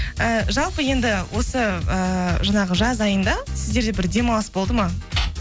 і жалпы енді осы ііі жаңағы жаз айында сіздерде бір демалыс болды ма